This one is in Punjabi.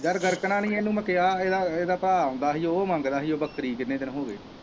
ਯਾਰ ਗਰਕਣਾ ਨੀ ਇੰਨੂ ਮੈਂ ਕਿਹਾ ਇਦਾ ਇਦਾ ਭਾਅ ਆਉਂਦਾ ਹੀ ਉਹ ਮੰਗਦਾ ਹੀ ਬੱਕਰੀ ਕਿੰਨੇ ਦਿਨ ਹੋਗੇ।